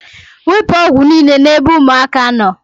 Wepu ọgwụ niile n'ebe ụmụaka nọ